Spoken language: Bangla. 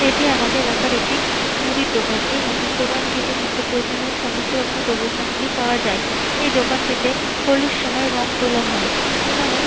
এটি আমাদের এলাকার একটি মোদির দোকান এই মুদির দোকান টিতে নিত্য প্রয়োজনীয় সমস্ত রকমের দ্রব্য সামগ্রী পাওয়া যায় এই দোকানটিতে হোলির সময় রং তোলা হয় এখানে--